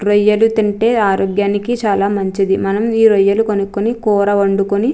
రొయ్యలు తింటే ఆరోగ్యానికి చాలా మంచిది. మనం ఈ రొయ్యలు కొనుక్కొని కూర వండుకొని --